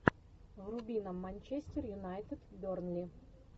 вруби нам манчестер юнайтед бернли